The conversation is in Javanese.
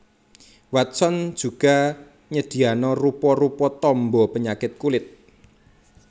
Watson juga nyediano rupa rupa tombo penyakit kulit